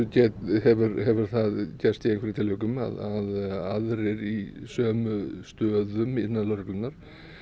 hefur hefur það gerst í einhverjum tilvikum að aðrir í sömu stöðum innan lögreglunnar